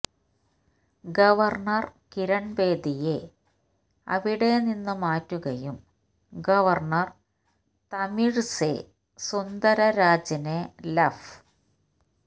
governor കിരണ്ബേദിയെ അവിടെ നിന്ന് മാറ്റുകയും ഗവര്ണര് തമിഴിസൈ സുന്ദരരാജനെ ലഫ്